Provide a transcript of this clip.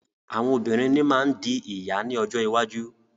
Àwọn obìnrin ní má ń di ìyá ní ọjọ́ iwájú.